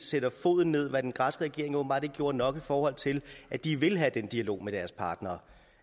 sætter foden ned hvad den græske regering åbenbart ikke gjorde nok i forhold til at de vil have den dialog med deres partnere